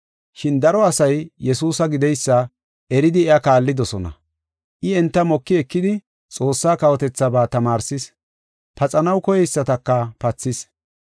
Shin daro asay Yesuusa gideysa eridi iya kaallidosona. I enta moki ekidi Xoossaa kawotethaaba tamaarsis; paxanaw koyeysataka pathis.